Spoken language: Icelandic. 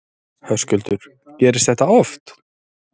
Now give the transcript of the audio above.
Höskuldur: Gerist þetta oft?